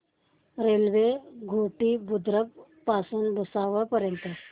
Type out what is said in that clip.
railway Ghoti Budruk पासून भुसावळ पर्यंत